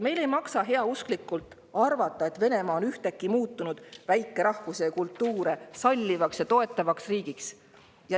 Meil ei maksa heausklikult arvata, et Venemaa on ühtäkki muutunud väikerahvusi ja ‑kultuure sallivaks ja toetavaks riigiks.